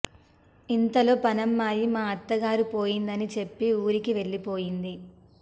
ఇంతలో పనమ్మాయి మా అత్తగారు పోయిందని చెప్పి ఊరికి వెళ్లి పోయింది